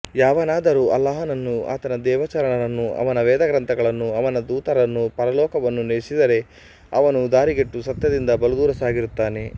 ಯಾವನಾದರೂ ಅಲ್ಲಾಹನನ್ನೂ ಆತನ ದೇವಚರರನ್ನೂ ಅವನ ವೇದಗ್ರಂಥಗಳನ್ನೂ ಅವನ ದೂತರನ್ನೂ ಪರಲೋಕವನ್ನೂ ನಿಷೇಧಿಸಿದರೆ ಅವನು ದಾರಿಗೆಟ್ಟು ಸತ್ಯದಿಂದ ಬಲುದೂರ ಸಾಗಿರುತ್ತಾನೆ